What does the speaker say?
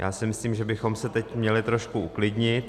Já si myslím, že bychom se teď měli trošku uklidnit.